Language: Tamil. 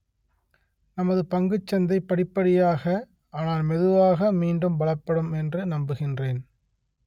நமது பங்குச் சந்தை படிப்படியாக ஆனால் மெதுவாக மீண்டும் பலப்படும் என்று நம்புகின்றேன்